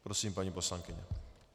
Prosím, paní poslankyně.